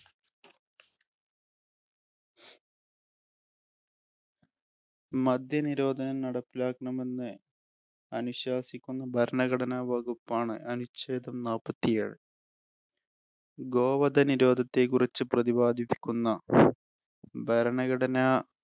മദ്യനിരോധനം നടപ്പിലാക്കണമെന്ന് അനുശാസിക്കുന്ന ഭരണഘടന വകുപ്പാണ് അനുച്ഛേദം നാപ്പത്തിയേഴ്. ഗോവധനിരോധത്തെക്കുറിച്ചു പ്രതിപാദിക്കുന്ന ഭരണഘടന